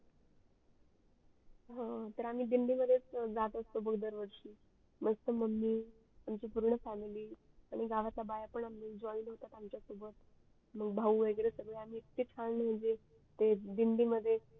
अह तर आम्ही दिंडी मध्येच जात असतो मग दरवर्षी मस्त मम्मी आमची पूर्ण family आणि गावातल्या बाया पण join होतात आमच्या सोबत मग भाऊ वगरे सगडे इतके छान दिंडी मध्ये